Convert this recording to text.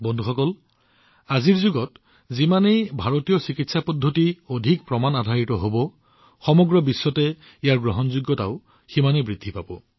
বন্ধুসকল আজিৰ যুগত যিমানেই ভাৰতীয় চিকিৎসা প্ৰণালী অধিক প্ৰমাণআধাৰিত হব সমগ্ৰ বিশ্বতে তেওঁলোকৰ গ্ৰহণযোগ্যতা সিমানেই বৃদ্ধি পাব